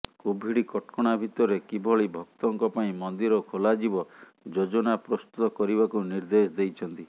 Covid କଟକଣା ଭିତରେ କିଭଳି ଭକ୍ତଙ୍କ ପାଇଁ ମନ୍ଦିର ଖୋଲାଯିବ ଯୋଜନା ପ୍ରସ୍ତୁତ କରିବାକୁ ନିର୍ଦ୍ଦେଶ ଦେଇଛନ୍ତି